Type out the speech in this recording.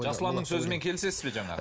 жасұланның сөзімен келісесіз бе жаңағы